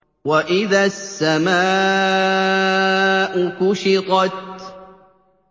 وَإِذَا السَّمَاءُ كُشِطَتْ